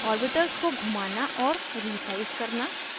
orbitals को घुमाना और resize करना